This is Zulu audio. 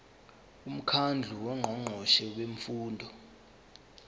umkhandlu wongqongqoshe bemfundo